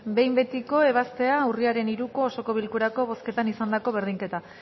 behin betiko ebaztea urriaren hiruko osoko bilkurako bozketan izandako berdinketak